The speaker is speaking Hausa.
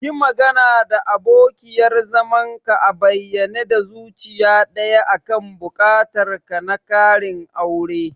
Yi magana da abokiyar zamanka a bayyane da zuciya daya akan buƙatar ka na ƙarin aure.